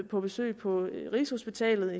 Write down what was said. på besøg på rigshospitalet